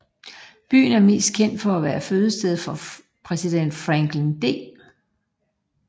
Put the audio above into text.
Byen er mest kendt for at være fødested for præsident Franklin D